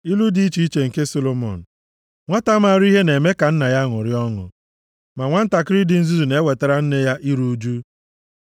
Ilu dị iche iche nke Solomọn: Nwata maara ihe na-eme ka nna ya ṅụrịa ọṅụ; ma nwantakịrị dị nzuzu na-ewetara nne ya nʼiru ụjụ.